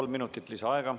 Kolm minutit lisaaega.